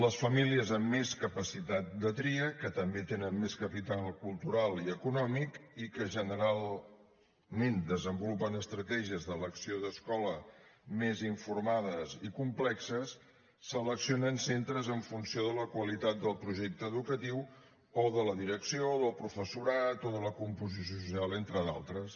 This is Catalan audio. les famílies amb més capacitat de tria que també tenen més capital cultural i econòmic i que generalment desenvolupen estratègies d’elecció d’escola més informades i complexes seleccionen centres en funció de la qualitat del projecte educatiu o de la direcció o del professorat o de la composició social entre d’altres